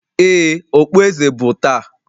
Ee, okpueze bụ taa